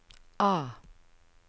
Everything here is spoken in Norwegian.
A